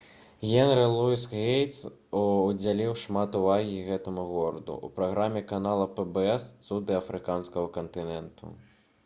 генры луіс гейтс удзяліў шмат увагі гэтаму гораду ў праграме канала pbs «цуды афрыканскага кантыненту»